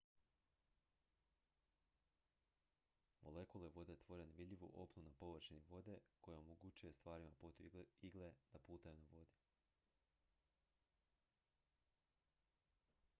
molekule vode tvore nevidljivu opnu na površini vode koja omogućuje stvarima poput igle da plutaju na vodi